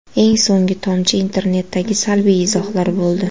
Eng so‘nggi tomchi internetdagi salbiy izohlar bo‘ldi.